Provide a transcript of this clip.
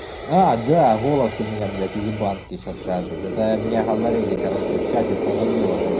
а да голос у меня блять уебанский сейчас скажет это меня говорили короче в чате соловьёва когда